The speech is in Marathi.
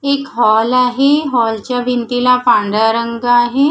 एक हॉल आहे हॉलच्या भिंतीला पांढरा रंग आहे.